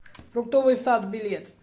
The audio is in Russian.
фруктовый сад билет